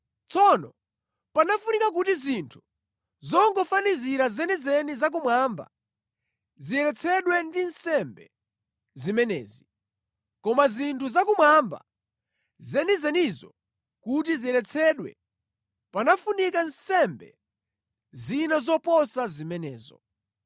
Tsono panafunika kuti zinthu zingofanizira zenizeni za kumwamba, ziyeretsedwe ndi nsembe zimenezi, koma zinthu za kumwamba zenizenizo kuti ziyeretsedwe panafunika nsembe zina zoposa zimenezo.